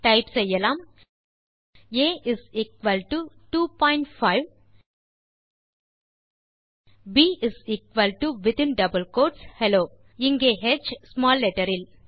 type செய்யலாம் a is equal to 2 point 5 பின் b within double quotes hello where h is small letter